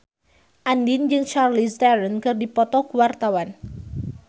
Andien jeung Charlize Theron keur dipoto ku wartawan